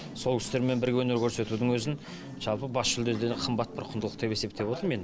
сол кісілермен бірге өнер көрсетудің өзін жалпы бас жүлдеден қымбат бір құндылық деп есептеп отырм мен